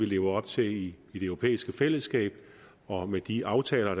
leve op til i det europæiske fællesskab og de aftaler